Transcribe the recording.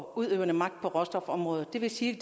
og udøvende magt på råstofområdet og det vil sige